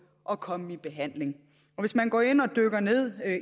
at komme i behandling hvis man dykker ned